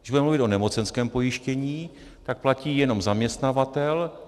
Když budeme mluvit o nemocenském pojištění, tak platí jenom zaměstnavatel.